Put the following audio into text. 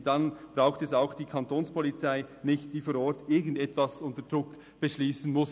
Und dann braucht es auch nicht die Kantonspolizei, die vor Ort irgendetwas unter Druck beschliessen muss.